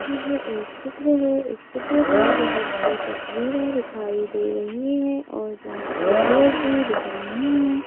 यह एक चित्र है इस चित्र में बहुत सी तस्वीरें दिखाई दे रही है और बहुत सी लोग भी दिख रहे है।